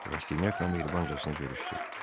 Raşinyakla mehribancasına görüşdü.